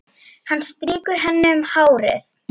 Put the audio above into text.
Hann strýkur henni um hárið.